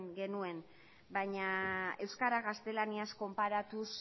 genuen baina euskara gaztelaniaz konparatuz